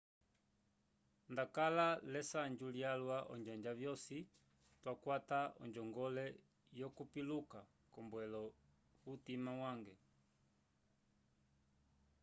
ndakala l'esanju lyalwa onjanja yosi twakwata onjongole yokupiluka k'ombwelo yutima yange